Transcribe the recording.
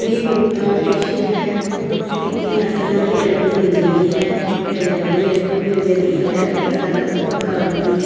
ਇਹ ਗੁਪਤਾ ਆਪਰੇਸ਼ਨ ਹੈ ਇੱਥੇ ਹਰ ਤਰ੍ਹਾਂ ਦੀ ਐਨਕ ਮਿਲ ਜਾਂਦੀ ਹੈ ਨਜ਼ਰ ਵਾਲੀ ਐਨਕ ਵੀ ਮਿਲ ਜਾਂਦੀ ਹੈ ਅਤੇ ਅਲੱਗ ਅਲੱਗ ਪ੍ਰਕਾਰ ਦੀ --